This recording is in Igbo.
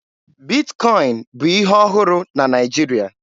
Bitkọin bụ ihe ọhụrụ na Naịjirịa